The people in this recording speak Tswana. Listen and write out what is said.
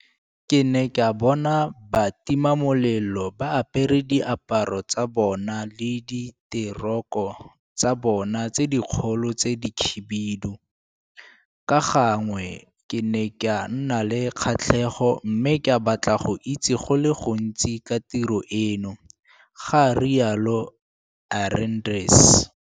Ke ne ka bona batimamelelo ba apere diaparo tsa bona le diteroko tsa bona tse dikgolo tse dikhibidu, ka gangwe ke ne ka nna le kgatlhego mme ka batla go itse go le gontsi ka tiro eno, ga rialo Arendse.